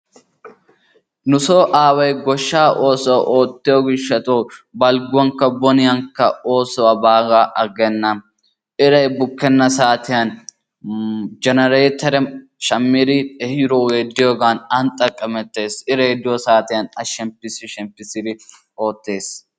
Nusso aaway goshshaa oossuwa oottiyo gishshatawu balgguwankka boniyankka oosuwa baaga aggenna eray bukkena saatiyan jeneretteriya ehiiddogge diyogan aan xaqqamettees, iray diyo saatiyan a shemppiis shemppiisdi oottees.